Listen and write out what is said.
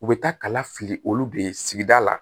U bɛ taa kala fili olu de sigida la